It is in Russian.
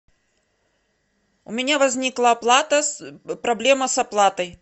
у меня возникла оплата проблема с оплатой